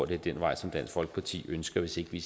det er den vej som dansk folkeparti ønsker hvis vi